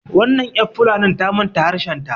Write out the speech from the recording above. wannan yan fulanin ta manta harshenta